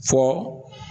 Fɔ